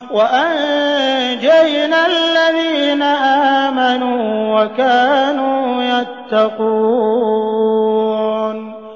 وَأَنجَيْنَا الَّذِينَ آمَنُوا وَكَانُوا يَتَّقُونَ